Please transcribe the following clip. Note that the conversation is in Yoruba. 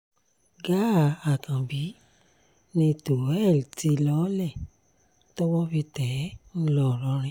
gàá àkànbí ni tohel ti lọọ́lẹ̀ tọ́wọ́ fi tẹ̀ ẹ́ ńlọrọrìn